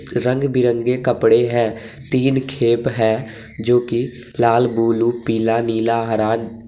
रंग बिरंगे कपड़े हैं। तीन खेप है जो कि लाल बूलू पीला नीला हरा --